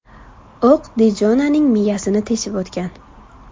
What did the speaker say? O‘q Dijonaning miyasini teshib o‘tgan.